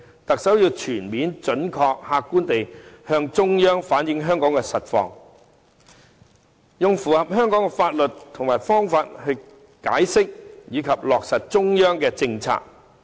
特首要全面、準確和客觀地向中央反映香港的實況，用符合香港的法律及方法解釋及落實中央的政策。